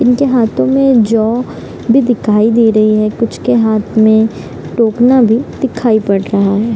उनके हाथों में जौं भी दिखाई दे रही है कुछ के हाथ में टोकना भी दिखाई पड़ रहा है।